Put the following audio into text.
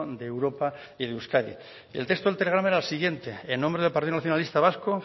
de europa y de euskadi el texto del telegrama era el siguiente en nombre del partido nacionalista vasco